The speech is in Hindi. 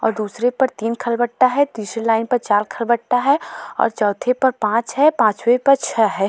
और दूसरे पर तीन खलबट्टा है तीसरी लाइन पर चार खलबट्टा है और चौथे पर पांच है पांचवें पर छह है।